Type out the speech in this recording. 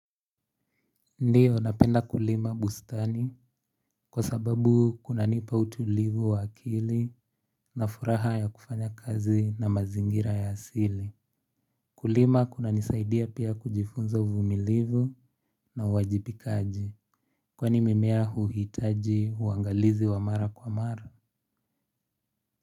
Ndiyo, napenda kulima bustani kwa sababu kunanipa utulivu wa akili na furaha ya kufanya kazi na mazingira ya asili. Kulima kunanisaidia pia kujifunza uvumilivu na uwajibikaji. Kwani mimea huhitaji uwangalizi wa mara kwa mara.